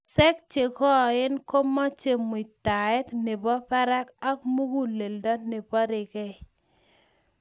Wiseek che koen komeche muitaet ne bo barak ak muguleldo ne boriengei.